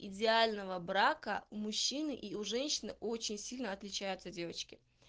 идеального брака мужчины и у женщины очень сильно отличаются девочки